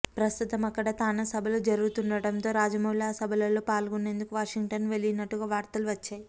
ప్రస్తుతం అక్కడ తానా సభలు జరుగుతుండటంతో రాజమౌళి ఆ సభలలో పాల్గొనేందుకు వాషింగ్టన్ వెళ్లినట్టుగా వార్తలు వచ్చాయి